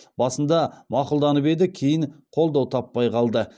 басында мақұлданып еді кейін қолдау таппай қалды